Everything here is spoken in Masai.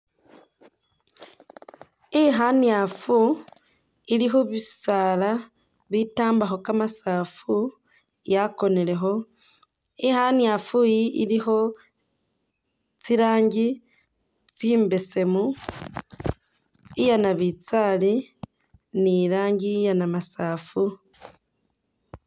ikhanyafu ili khubisaala bitambakho kamasafu yakonelekho ikhanyafu yi ilikho tsirangi tsimbesemu. iyanabitsali nilangi iyanamasafu